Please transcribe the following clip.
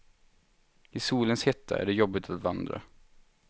I solens hetta är det jobbig att vandra.